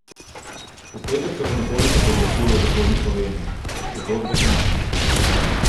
V petek se bo nekoliko pooblačilo v zahodni Sloveniji, drugod bo sončno.